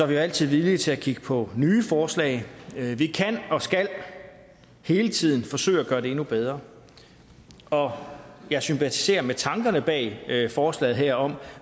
vi altid villige til at kigge på nye forslag vi kan og skal hele tiden forsøge at gøre det endnu bedre og jeg sympatiserer med tankerne bag forslaget her om